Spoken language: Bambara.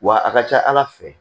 Wa a ka ca ala fɛ